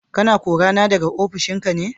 Kana korana da ofishinka ne?